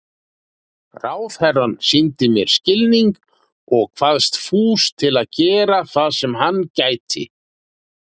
Ráðherrann sýndi mér skilning og kvaðst fús til að gera það sem hann gæti.